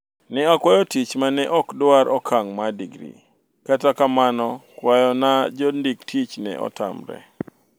" ne akwayo tich mane ok dwar okang' mar degree. kata kamano kwayo na jondik tich ne otamre